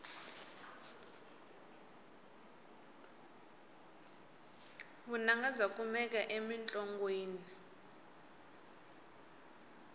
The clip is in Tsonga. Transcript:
vunanga bya kumeka emintlongwini